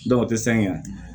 Dɔw tɛ sanɲɛ